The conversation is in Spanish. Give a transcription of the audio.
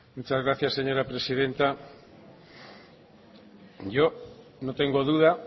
muchas gracias señora presidenta yo no tengo duda